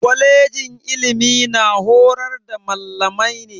Kwalejin ilimi na horar da mallamai ne.